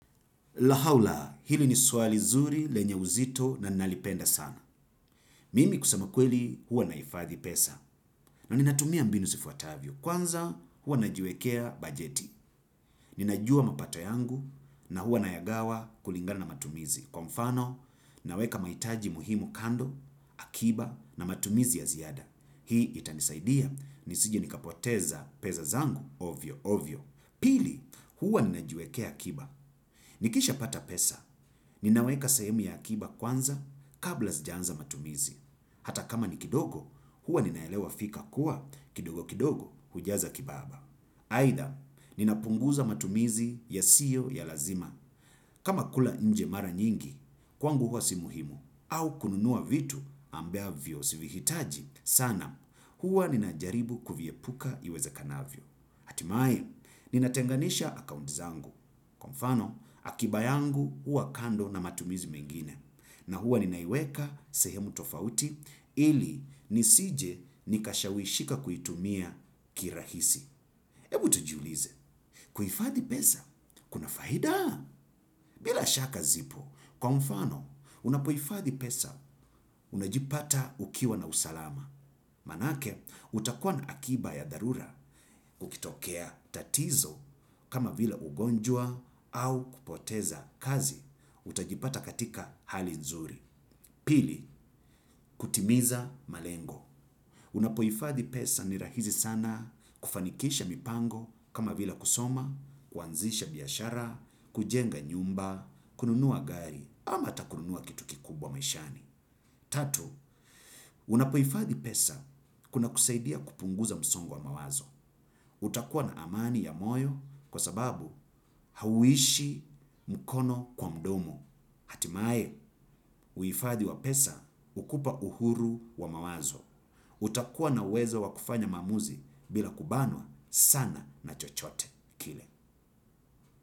Lahaula, hili ni swali zuri lenya uzito na nalipenda sana. Mimi kusema kweli huwa nahifadhi pesa. Na ninatumia mbinu zifuatavyo. Kwanza huwa najiwekea bajeti. Ninajua mapato yangu na huwa nayagawa kulingana na matumizi. Kwa mfano, naweka mahitaji muhimu kando, akiba na matumizi ya ziada. Hii itanisaidia. Nisije nikapoteza pesa zangu, ovyo, ovyo. Pili, huwa ninajiwekea akiba. Nikishapata pesa, ninaweka sahemu ya akiba kwanza kabla sijaanza matumizi. Hata kama ni kidogo, huwa ninaelewa fika kuwa kidogo kidogo hujaza kibaba. Aidha, ninapunguza matumizi yasiyo ya lazima. Kama kula nje mara nyingi, kwangu huwa si muhimu. Au kununua vitu ambavyo si vihitaji. Sana, huwa ninajaribu kuviepuka iwezekanavyo. Hatimaye, ninatenganisha akaunti zangu. Kwa mfano, akiba yangu huwa kando na matumizi mengine. Na huwa ninaiweka sehemu tofauti ili nisije nikashawishika kuitumia kirahisi. Ebu tujiulize. Kuhifadhi pesa, kuna faida. Bila shaka zipo. Kwa mfano, unapohifadhi pesa, unajipata ukiwa na usalama. Maanake, utakuwa na akiba ya dharura kukitokea tatizo kama vila ugonjwa au kupoteza kazi utajipata katika hali nzuri. Pili, kutimiza malengo. Unapohifadhi pesa ni rahisi sana kufanikisha mipango kama vila kusoma, kuanzisha biashara, kujenga nyumba, kununua gari ama hata kununua kitu kikubwa maishani. Tatu unapohifadhi pesa kunakusaidia kupunguza msongo wa mawazo. Utakuwa na amani ya moyo kwa sababu hauishi mkono kwa mdomo. Hatimae, uhifadhi wa pesa hukupa uhuru wa mawazo. Utakuwa na uwezo wa kufanya maamuzi bila kubanwa sana na chochote. Kile.